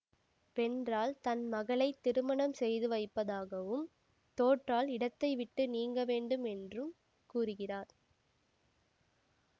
வென்றால் தன் மகளைத் திருமணம் செய்து வைப்பதாகவும் தோற்றால் இடத்தைவிட்டு நீங்க வேண்டும் என்றும் கூறுகிறார்